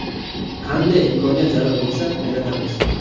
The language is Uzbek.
Qanday imkoniyat zarur bo‘lsa – yaratamiz.